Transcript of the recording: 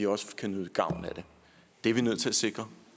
også kan nyde gavn af det det er vi nødt til at sikre